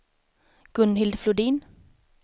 Gunhild Flodin